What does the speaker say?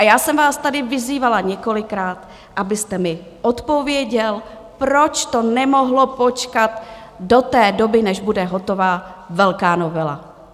A já jsem vás tady vyzývala několikrát, abyste mi odpověděl, proč to nemohlo počkat do té doby, než bude hotová velká novela.